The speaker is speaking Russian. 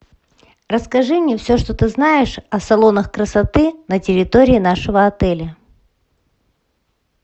расскажи мне все что ты знаешь о салонах красоты на территории нашего отеля